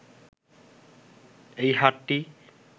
এই হাটটি